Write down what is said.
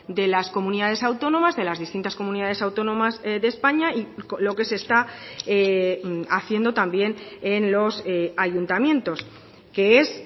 de las comunidades autónomas de las distintas comunidades autónomas de españa y lo que se está haciendo también en los ayuntamientos que es